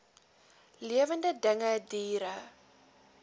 lewende dinge diere